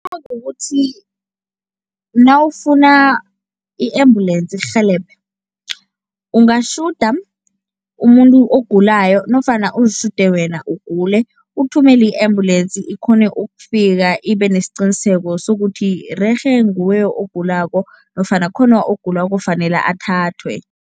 Kukuthi nawufuna i-ambulensi ikurhelebhe, ungatjhuda umuntu ogulayo nofana uzitjhude wena ugule, uthumele i-ambulensi ikghone ukufika ibenesiqiniseko sokuthi rerhe nguwe ogulako nofana khona ogulako ofanele athathwe.